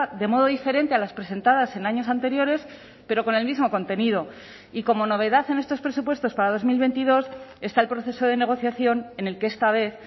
de modo diferente a las presentadas en años anteriores pero con el mismo contenido y como novedad en estos presupuestos para dos mil veintidós está el proceso de negociación en el que esta vez